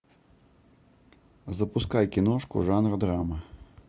запускай киношку жанра драма